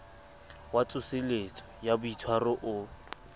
wa tsoseletso ya boitshwaro o